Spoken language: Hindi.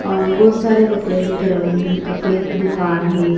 अह बहुत सारे कपड़े दिख रहे हैं कपड़े की दुकान है।